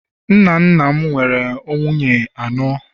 nna nna m nwere nwunye anọ